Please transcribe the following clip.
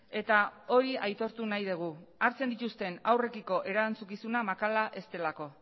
eta hori aitortu nahi dugu hartzen dituzten haurrekiko erantzukizuna makala ez delako